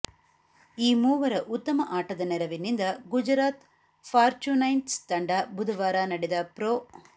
ಈ ಮೂವರ ಉತ್ತಮ ಆಟದ ನೆರವಿನಿಂದ ಗುಜರಾತ್ ಫಾರ್ಚೂನ್ಜೈಂಟ್ಸ್ ತಂಡ ಬುಧವಾರ ನಡೆದ ಪ್ರೊ